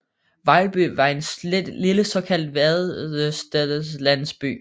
Vejlby var en lille såkaldt vadestedslandsby